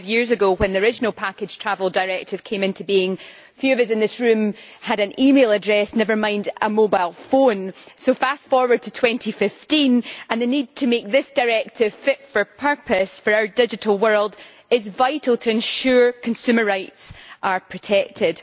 Twenty five years ago, when the original Package Travel Directive came into being, few of us in this room had an e-mail address, never mind a mobile phone, so fast-forwarding to 2015 and making this directive fit for purpose for our digital world are vital to ensure that consumer rights are protected.